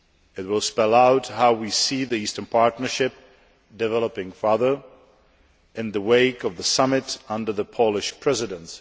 It will spell out how we see the Eastern Partnership developing further in the wake of the summit under the Polish Presidency.